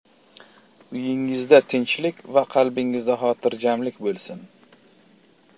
Uyingizda tinchlik va qalbingizda hotirjamlik bo‘lsin.